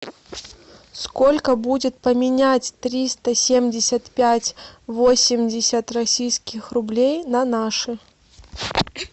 сколько будет поменять триста семьдесят пять восемьдесят российских рублей на наши